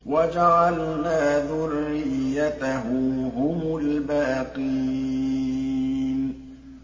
وَجَعَلْنَا ذُرِّيَّتَهُ هُمُ الْبَاقِينَ